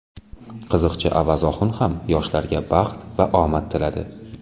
Qiziqchi Avaz Oxun ham yoshlarga baxt va omad tiladi.